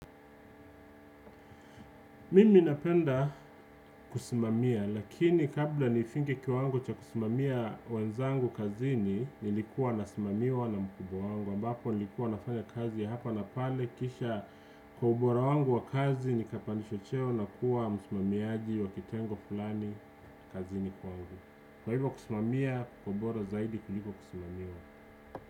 Mimi napenda kusimamia, lakini kabla nifike kiwango cha kusimamia wenzangu kazini, nilikuwa nasimamiwa na mkubwa wangu. Ambapo nilikuwa nafanya kazi ya hapa na pale kisha kwa ubora wangu wa kazi nikapandishwa cheo na kuwa msimamiaji wa kitengo fulani kazini kwangu kwa hivyo kusimamia ni bora zaidi kuliko kusimamiwa.